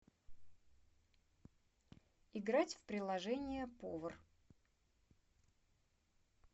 играть в приложение повар